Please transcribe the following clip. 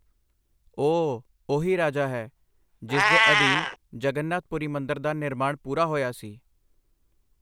ਓਹ ਉਹੀ ਰਾਜਾ ਹੈ ਜਿਸ ਦੇ ਅਧੀਨ ਜਗਨਨਾਥ ਪੁਰੀ ਮੰਦਿਰ ਦਾ ਨਿਰਮਾਣ ਪੂਰਾ ਹੋਇਆ ਸੀ।